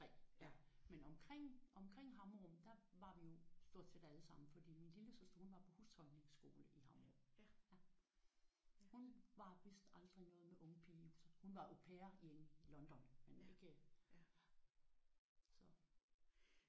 Men omkring omkring Hammerup der var vi jo stort set alle sammen fordi min lillesøster hun var på husholdningsskole i Hammerup. Hun var vist aldrig noget med ung pige i huset. Hun var au pair i London men ikke